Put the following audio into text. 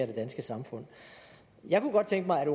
det danske samfund jeg kunne godt tænke mig at